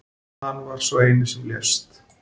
Hann var sá eini sem lést